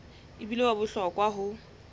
e bile wa bohlokwa ho